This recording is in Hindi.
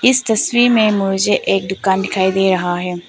इस तस्वीर में मुझे एक दुकान दिखाई दे रहा है।